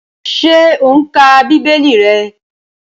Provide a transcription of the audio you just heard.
Ṣé o n ka bíbélì rẹ?